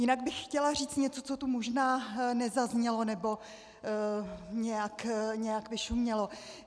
Jinak bych chtěla říct něco, co tu možná nezaznělo nebo nějak vyšumělo.